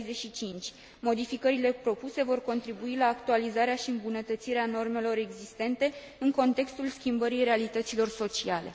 65. Modificările propuse vor contribui la actualizarea și îmbunătățirea normelor existente în contextul schimbării realităților sociale.